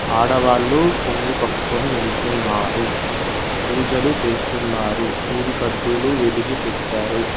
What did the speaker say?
ఆడవాళ్లు కొంగు కప్పుకొని నిలుచున్నారు పూజలు చేస్తున్నారు ఊది కడ్డీలు వెలిగి పెట్టారు.